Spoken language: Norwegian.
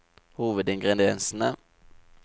hovedingrediensene